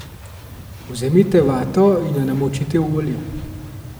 Vzemite vato in jo namočite v olje.